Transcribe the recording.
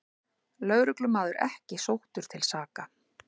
Lögreglumaður ekki sóttur til saka